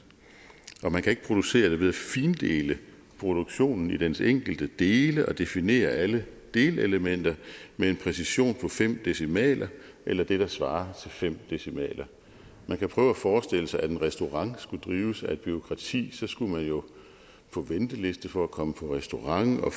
og man kan ikke producere det ved at findele produktionen i dens enkelte dele og definere alle delelementer med en præcision på fem decimaler eller det der svarer til fem decimaler man kan prøve at forestille sig at en restaurant skulle drives af et bureaukrati så skulle man jo på venteliste for at komme på restaurant og